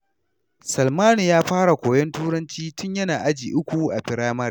Salmanu ya fara koyon Turanci tun yana aji uku a firamare.